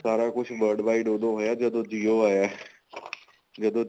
ਸਾਰਾ ਕੁੱਝ worldwide ਉਦੋਂ ਹੋਇਆ ਜਦੋਂ ਜਿਉ ਆਇਆ ਜਦੋਂ